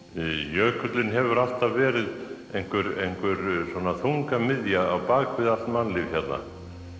jökullinn hefur alltaf verið einhver einhver svona þungamiðja á bak við allt mannlíf hérna